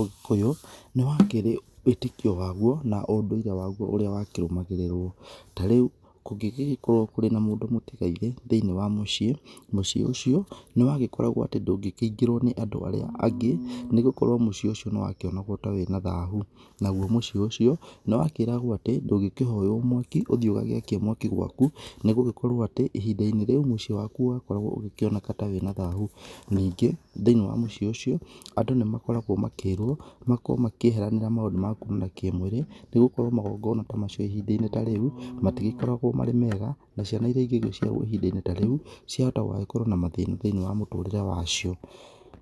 ũgĩkũyũ nĩ wakĩrĩ wĩtĩkio waguo na ũndũire waguo ũrĩa wakĩrũmagĩrĩrwo. Ta rĩu kũgĩgĩkorwo kũrĩ na mũndũ mũtigairĩ thĩiniĩ wa muciĩ, mũciĩ ũcio nĩwagĩkoragwo atĩ ndũngĩkĩingĩrwo nĩ andũ arĩa angĩ nĩ gũkorwo mũciĩ ũcio nĩ wakĩonagwo ta wĩna thahu. Naguo mũciĩ ũcio nĩ wakĩragwo atĩ ndũngĩkĩhoywo mwaki ũthiĩ ũgagĩakie mwaki gwaku nĩ gũgikorwo atĩ ihinda-inĩ rĩu mũciĩ waku wakoragwo ũgĩkioneka ta wĩna thahu. Ningĩ thĩiniĩ wa mũciĩ ũcio andũ nĩ makoragwo makĩirwo makorwo makĩeheranĩra maũndũ ma kuumĩra kĩmwĩrĩ nĩ gũkorwo magongona ta macio ihinda-inĩ ta rĩu matigĩkoragwo marĩ mega, na ciana irĩa ingĩciaro ihinda-inĩ ta rĩu ciahota gũgagĩkorwo na mathĩna thĩiniĩ wa mũtũrĩre wacio.